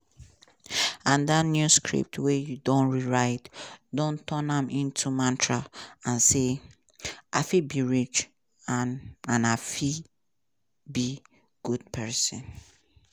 and dat new script wey you don rewrite don turn am into mantra and say: i fit be rich and and i fit be good pesin.